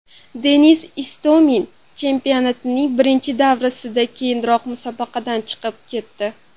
Denis Istomin chempionatning birinchi davrasidan keyinoq musobaqadan chiqib ketdi .